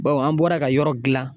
Bawo an bɔra ka yɔrɔ gilan